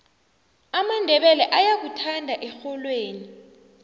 amandebele ayakuthanda erholweni